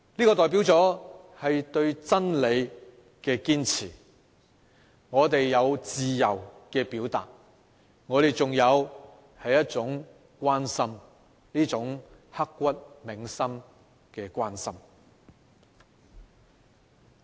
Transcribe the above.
這代表了對真理的堅持，我們有自由的表達，我們仍有一份關心，一份刻骨銘心的關心。